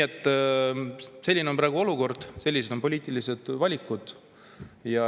Selline on praegu olukord, sellised on poliitilised valikud.